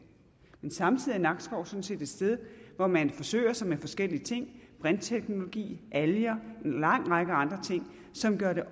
men samtidig er nakskov sådan set et sted hvor man forsøger sig med forskellige ting brintteknologi alger en lang række andre ting som gør det